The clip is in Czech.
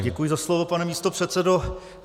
Tak děkuji za slovo, pane místopředsedo.